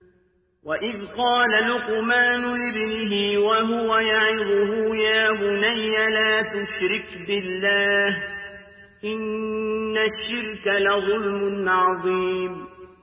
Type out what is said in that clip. وَإِذْ قَالَ لُقْمَانُ لِابْنِهِ وَهُوَ يَعِظُهُ يَا بُنَيَّ لَا تُشْرِكْ بِاللَّهِ ۖ إِنَّ الشِّرْكَ لَظُلْمٌ عَظِيمٌ